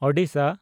Odisha